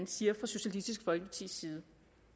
siger fra socialistisk folkepartis side